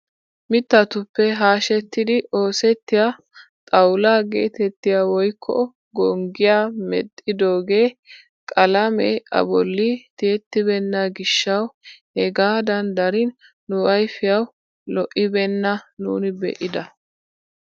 Mittatuppe haashshettidi oosettiyaa xawulaa getettiyaa woykko gonggiyaa medhidoogee qalamee a bolli tiyettibeenna giishshawu hegaadan darin nu ayfiyaawu lo"ibenna nuuni be'ida!